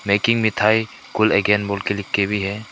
Making मिठाई cool again बोल के लिख के भी है।